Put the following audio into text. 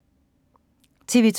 TV 2